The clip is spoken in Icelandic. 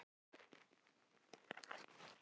Læknar, vísindamenn, rithöfundar.